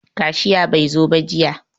Kashiya bai zo ba jiya.